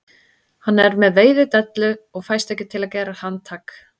Hann er með veiðidellu og fæst ekki til að gera handtak